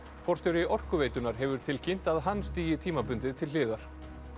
forstjóri Orkuveitunnar hefur tilkynnt að hann stígi tímabundið til hliðar